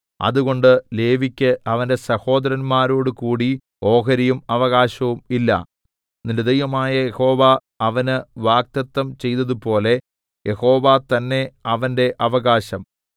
അതുകൊണ്ട് ലേവിക്ക് അവന്റെ സഹോദരന്മാരോടുകൂടി ഓഹരിയും അവകാശവും ഇല്ല നിന്റെ ദൈവമായ യഹോവ അവന് വാഗ്ദത്തം ചെയ്തതുപോലെ യഹോവ തന്നെ അവന്റെ അവകാശം